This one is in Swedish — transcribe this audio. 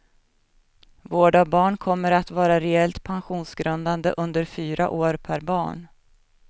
Vård av barn kommer att vara reellt pensionsgrundande under fyra år per barn.